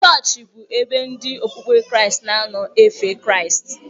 Chọọchị bụ ebe ndị okpukpe Kraịst na-anọ efe Kraịst.